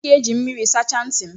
M ga-eji mmiri sachaa ntị m